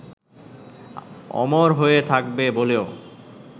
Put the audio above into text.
অমর হয়ে থাকবে বলেও